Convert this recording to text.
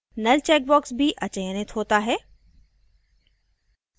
null check box भी अचयनित होता है